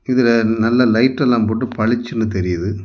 இதுல நல்ல லைட் எல்லாம் போட்டு பளிச்சுனு தெரியுது.